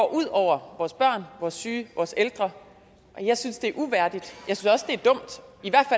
ud over vores børn vores syge vores ældre jeg synes det er uværdigt